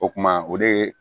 O kuma o de ye